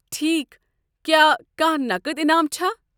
ٹھیک، کیا کانٛہہ نقد انعام چھا؟